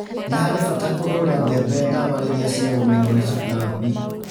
Nĩ harĩ bata kũhũra mbembe ndawa rĩrĩa cia gũmĩrwo nĩ tũtambi.